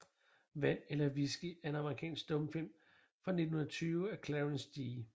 Vand eller Whisky er en amerikansk stumfilm fra 1920 af Clarence G